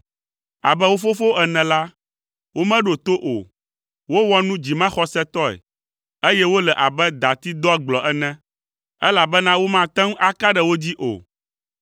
Abe wo fofowo ene la, womeɖo to o, wowɔ nu dzimaxɔsetɔe, eye wole abe dati doagblɔ ene, elabena womate ŋu aka ɖe wo dzi o.